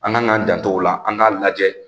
An kan k'an janto o la an k'a lajɛ